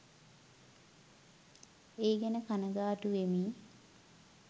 ඒ ගැන කණගාටුවෙමි.